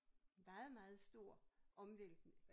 Meget meget stor omvæltning